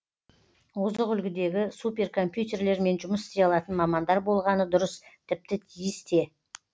озық үлгідегі суперкомпьютерлермен жұмыс істей алатын мамандар болғаны дұрыс тіпті тиіс те